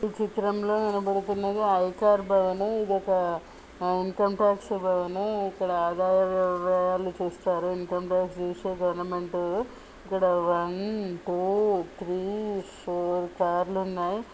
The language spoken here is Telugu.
ఈ చిత్రంలో కనబడుతున్నది అయ్యాకార్ భవన్ ఇది ఒక ఇన్కమ్ టాక్స్ భవన్ ఇక్కడ ఆదాయ వ్యవహారాలు చూస్తారు ఇన్కమ్ టాక్స్ చూస్తే బాగా ఉంటది ఇక్కడ one two three four car లు ఉన్నాయి.